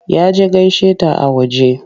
Ya je gaishe ta a waje.